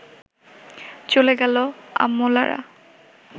চলে গেল অমলারা